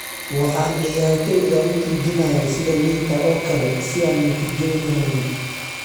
Waxaan ciyaartoyda u tuujinayay sida liinta oo kale si aan natiijooyin u helno.""